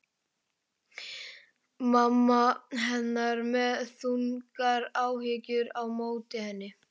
Mamma hennar með þungar áhyggjur á móti henni.